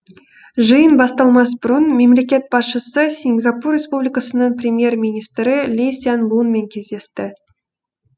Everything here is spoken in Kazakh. жиын басталмас бұрын мемлекет басшысы сингапур республикасының премьер министрі ли сян лунмен кездесті